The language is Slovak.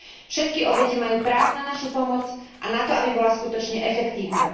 Všetky obete majú právo na našu pomoc a na to, aby bola skutočne efektívna.